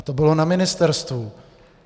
A to bylo na ministerstvu.